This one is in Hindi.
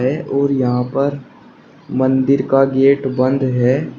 है और यहां पर मंदिर का गेट बंद है।